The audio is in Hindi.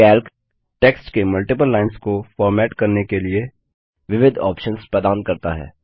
कैल्क टेक्स्ट के मल्टिपल लाइन्स को फॉर्मेट करने के लिए विविध ऑप्शन्स प्रदान करता है